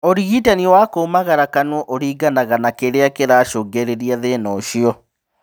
ũrigitani wa kũmagara kanua ũringanaga na kĩrĩa kĩracũngĩrĩria thĩna ũcio